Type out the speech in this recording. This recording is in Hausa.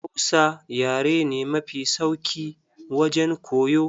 Hausa yare ne mafi sauki wajen koyo.